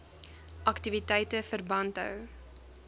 aktiwiteite verband hou